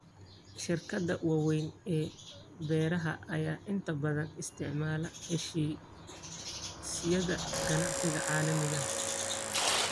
Shirkadaha waaweyn ee beeraha ayaa inta badan isticmaala heshiisyada ganacsiga caalamiga ah.